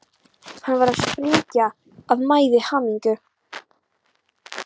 Hann var að springa af mæði og hamingju.